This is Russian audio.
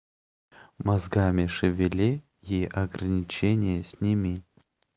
мозгами шевели и ограничения сними